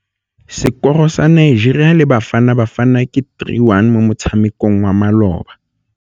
Sekôrô sa Nigeria le Bafanabafana ke 3-1 mo motshamekong wa malôba.